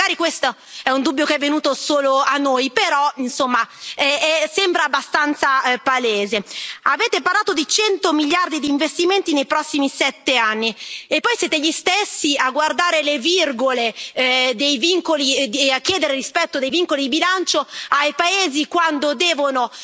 Magari questo è un dubbio che è venuto solo a noi però, insomma, sembra abbastanza palese Avete parlato di cento miliardi di investimenti nei prossimi sette anni e poi siete gli stessi a guardare le virgole e a chiedere il rispetto dei vincoli di bilancio ai paesi quando devono